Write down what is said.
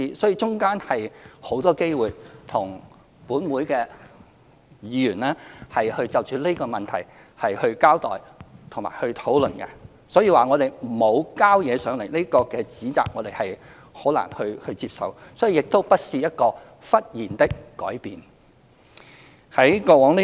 其間，我們有很多機會與各位議員就這項問題交代和討論，所以指當局沒有提交文件，這個指責我們很難接受，而這亦不是一個忽然的改變。